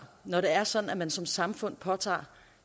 når det er sådan at man som samfund påtager